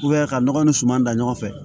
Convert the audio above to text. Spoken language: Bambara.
ka nɔgɔ ni suman dan ɲɔgɔn fɛ